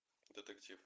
детектив